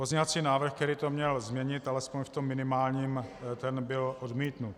Pozměňovací návrh, který to měl změnit alespoň v tom minimálním, ten byl odmítnut.